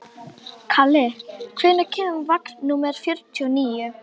Kalli, hvenær kemur vagn númer fjörutíu og níu?